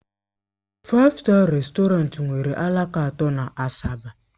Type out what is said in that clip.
Faif Staa Rèstọrantị nwere alaka atọ na Asaba.